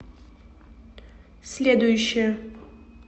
следующая